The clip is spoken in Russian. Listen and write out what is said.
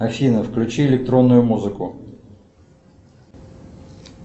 афина включи электронную музыку